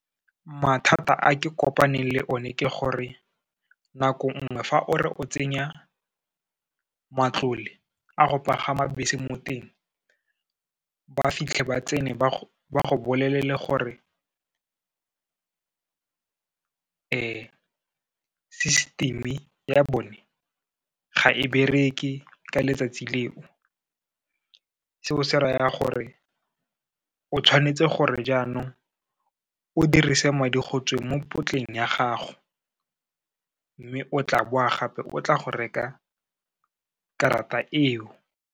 Mathata a ke kopaneng le one ke gore, nako nngwe fa o re o tsenya matlole a go pagama bese mo teng, ba fitlhe ba tsene ba go bolelele gore system-e ya bone ga e bereke ka letsatsi leo. Seo se raya gore, o tshwanetse gore jaanong, o dirise madi go tsweng mo potleng ya gago, mme o tla boa gape o tla go reka karata eo.